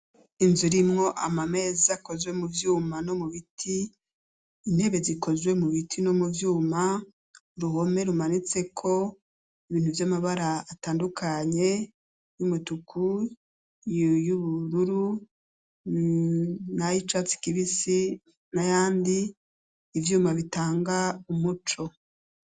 Inzu irimwo amameza akozwe mu vyuma no mu biti, intebe zikozwe mu biti no mu vyuma, uruhome rumanitseko ibintu vy'amabara atandukanye, y'umutuku, y'ubururu, n'ayicatsi kibisi, n'ayandi, ivyuma bitanga umuco.